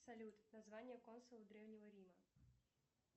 салют название консула древнего рима